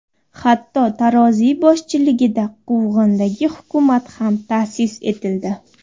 Hatto Taroziy boshchiligida quvg‘indagi hukumat ham ta’sis etildi.